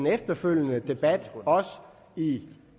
af efterfølgende